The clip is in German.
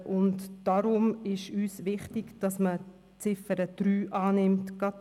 Deshalb ist uns wichtig, dass die Ziffer 3 angenommen wird.